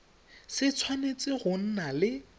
se tshwanetse go nna le